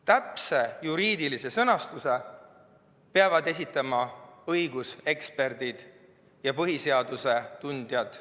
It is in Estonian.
Täpse juriidilise sõnastuse peavad esitama õiguseksperdid ja põhiseaduse tundjad.